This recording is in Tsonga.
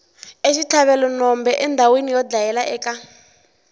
exitlhavelwenombe endhawina yo dlayela eka